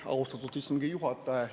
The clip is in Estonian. Austatud istungi juhataja!